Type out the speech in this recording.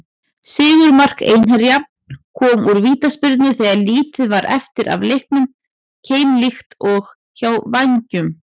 Sigurmark Einherja kom úr vítaspyrnu þegar lítið var eftir af leiknum, keimlíkt og hjá Vængjum.